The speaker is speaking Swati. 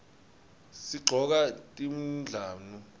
sigcoka tindlamu